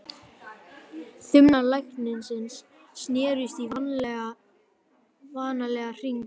Þumlar læknisins snerust í vanalega hringi.